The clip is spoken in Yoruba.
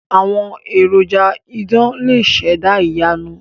Àwọn èròjà idán lè ṣẹ̀dá ìyanu.